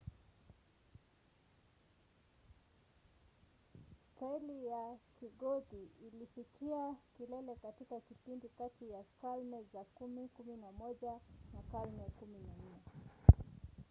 staili ya kigothi ilifikia kilele katika kipindi kati ya karne za 10-11 na karne ya 14